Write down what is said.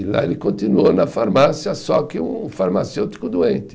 E lá ele continuou na farmácia, só que um farmacêutico doente.